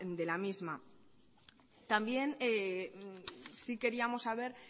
de la misma también sí queríamos saber